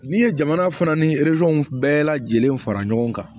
N'i ye jamana fana ni bɛɛ lajɛlen fara ɲɔgɔn kan